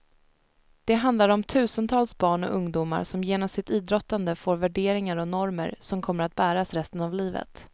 Det handlar om tusentals barn och ungdomar som genom sitt idrottande får värderingar och normer som kommer att bäras resten av livet.